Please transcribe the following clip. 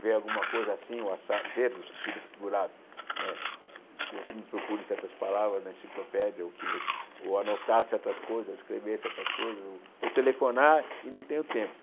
ver alguma coisa assim ou assado, ver no sentido figurado, né que você me procure certas palavras na enciclopédia, ou que vo ou anotar certas coisas, escrever certas coisas, ou ou telefonar e não tenho tempo.